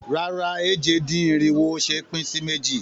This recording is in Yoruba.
Rárá, èje-dín-irinwo ò ṣe é pín sí méjì.